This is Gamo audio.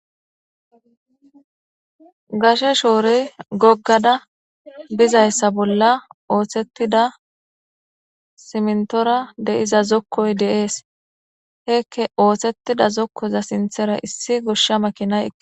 gashe shoore goggada bizayssa bolla ooththettida simntora deiza zokkoy deees heekke ooththettida zokkoza sinthera issi goshsha makinaye